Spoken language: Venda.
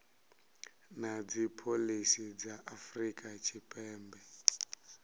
na dzipholisi dza afrika tshipembe